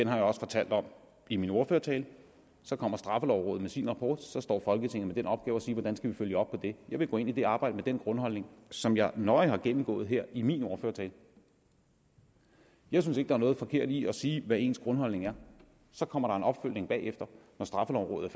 har fortalt om i min ordførertale så kommer straffelovrådet med sin rapport og så står folketinget med den opgave at skulle sige hvordan vi følger op på det jeg vil gå ind i det arbejde med den grundholdning som jeg nøje har gennemgået her i min ordførertale jeg synes ikke er noget forkert i at sige hvad ens grundholdning er så kommer der en opfølgning bagefter når straffelovrådet